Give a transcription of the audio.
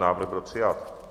Návrh byl přijat